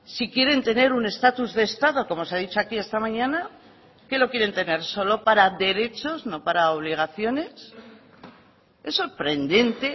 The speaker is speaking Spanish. si quieren tener un estatus de estado como se ha dicho aquí esta mañana que lo quieren tener solo para derechos no para obligaciones es sorprendente